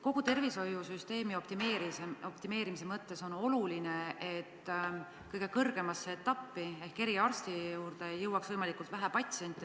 Kogu tervishoiusüsteemi optimeerimise mõttes on oluline, et kõige kõrgemasse etappi ehk eriarsti juurde jõuaks võimalikult vähe patsiente.